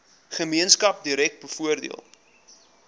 gemeenskap direk bevoordeel